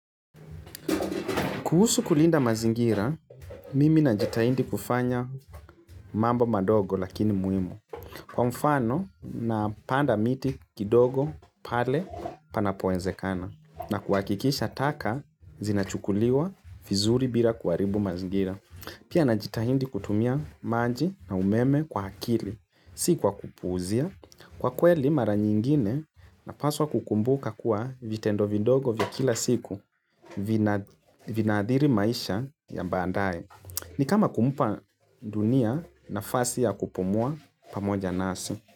Kuhusu kulinda mazingira, mimi najitahindi kufanya mambo madogo lakini muhimu. Kwa mfano, na panda miti kidogo pale panapo wezekana. Na kuhakikisha taka, zinachukuliwa vizuri bila kuharibu mazingira. Pia najitahidi kutumia maji na umeme kwa akili. Si kwa kupuuzia. Kwa kweli mara nyingine, napaswa kukumbuka kuwa vitendo vidogo vya kila siku. Vina adhiri maisha ya baadaye ni kama kumpa dunia nafasi ya kupumua pamoja nasi.